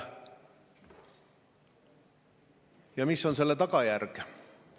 Ja mis on selle tagajärg?